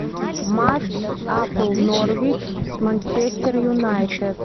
матч апл норвич с манчестер юнайтед